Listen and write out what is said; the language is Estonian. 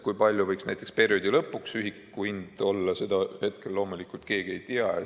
Kui palju võiks näiteks perioodi lõpuks ühiku hind olla, seda hetkel loomulikult keegi ei tea.